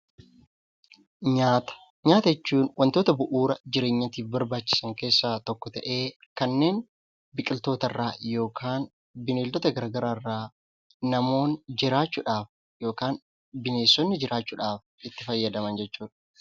Nyaata: Nyaata jechuun wantoota bu'uuraa jireenyaatiif barbaachisan keessaa tokko ta'ee kanneen biqiloota gara garaa irraa yookaan bineeldota gara garaa irraa namoonni jiraachuudhaaf yookaan bineensonni jiraachuu ldhaaf itti fayyadaman jechuudha.